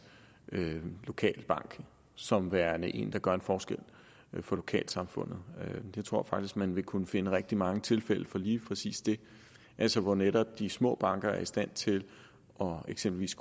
lokale bank som værende en der gør en forskel for lokalsamfundet jeg tror faktisk man vil kunne finde rigtig mange tilfælde på lige præcis det altså hvor netop de små banker er i stand til eksempelvis